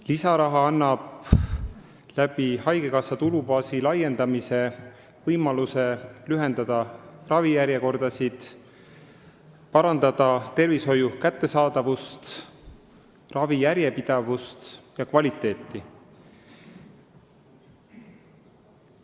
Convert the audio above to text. Lisaraha annab haigekassa tulubaasi laiendamise kaudu võimaluse lühendada ravijärjekordasid ning parandada tervishoiuteenuste kättesaadavust, ravi järjepidevust ja kvaliteeti.